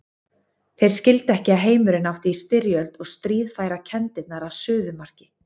Þeir skildu ekki að heimurinn átti í styrjöld og stríð færa kenndirnar að suðumarki.